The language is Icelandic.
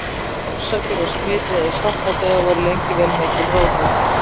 Orsakir og smitleiðir svartadauða voru lengi vel mikil ráðgáta.